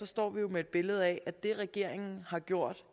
står med et billede af at det regeringen har gjort